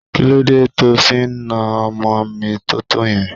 Kí ló dé to fi náà ọmọ mi tótó yẹn?